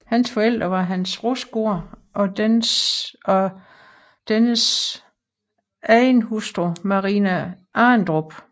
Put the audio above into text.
Hans forældre var Hans Rostgaard og dennes anden hustru Marina Arendrup